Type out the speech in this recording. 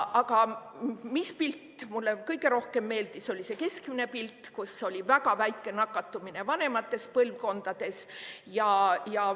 Aga pilt, mis mulle kõige rohkem meeldis, on see keskmine pilt, kus oli väga väike nakatumine vanemates põlvkondades.